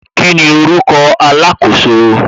Kíni orúkọ alakoso